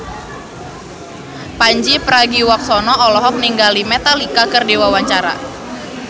Pandji Pragiwaksono olohok ningali Metallica keur diwawancara